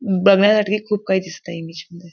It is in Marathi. बघण्यासाठी खूप काही दिसतंय इंग्लिश मध्ये.